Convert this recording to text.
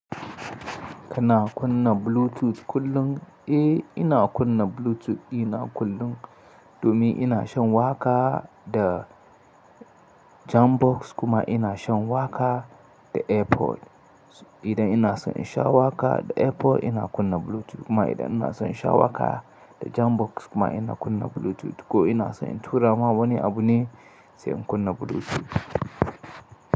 Kana kunna Bluetooth kullum? Eh ina kunna Bluetooth ɗina kullum domin ina shan waƙa da jam box kuma ina shan waƙa da airpod. Idan ina son in sha waƙa da airpod ina kunna Bluetooth kuma idan ina son in sha waƙa da jam box kuma ina kunna Bluetooth ko ina son in tura ma wani abu ne sai in kunna Bluetooth.